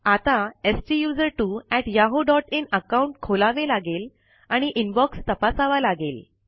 आता STUSERTWOyahooin account खोलावे लागेल आणि इनबॉक्स तपासावा लागेल